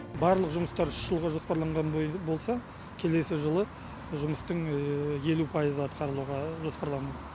барлық жұмыстар үш жылға жоспарланған болса келесі жылы жұмыстың елу пайызы атқарылуға жоспарланып